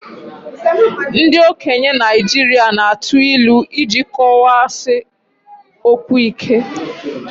Ndị okenye Naijiria na atụ ilu iji kọwaa si okwu ike